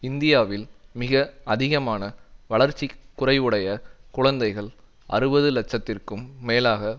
இந்தியாவில் மிக அதிகமான வளர்ச்சி குறைவுடைய குழந்தைகள் அறுபது இலட்சத்திற்கும் மேலாக